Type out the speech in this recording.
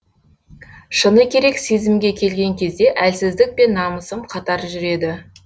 шыны керек сезімге келген кезде әлсіздік пен намысым қатар жүреді